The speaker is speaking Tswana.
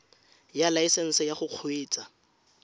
ya laesesnse ya go kgweetsa